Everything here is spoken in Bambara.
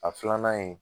A filanan in